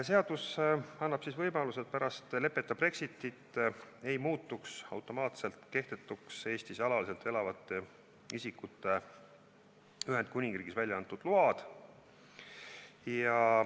Seadus annab võimaluse, et pärast leppeta Brexitit ei muutuks automaatselt kehtetuks Eestis alaliselt elavate isikute Ühendkuningriigis välja antud load.